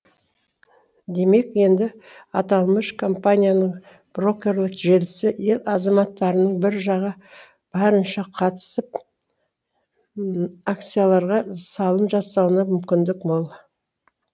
демек енді атамлыш компанияның брокерлік желісі ел азаматтарының биржаға барынша қатысып акцияларға салым жасауына мүмкіндік мол